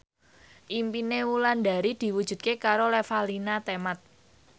impine Wulandari diwujudke karo Revalina Temat